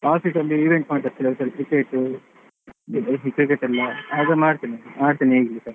Office ಅಲ್ಲಿ event ಮಾಡ್ತಾ ಇರ್ತಾರೆ. cricket cricket ಅದೆಲ್ಲಾ ಆಡ್ತೇನೆ ಆಡ್ತೇನೆ ಈಗಲೂಸಾ.